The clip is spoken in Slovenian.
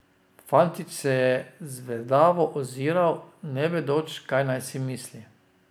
Fantič se je zvedavo oziral, ne vedoč, kaj naj si misli.